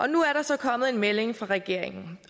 nu er der så kommet en melding fra regeringen